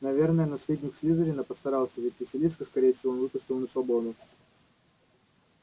наверное наследник слизерина постарался ведь василиска скорее всего он выпустил на свободу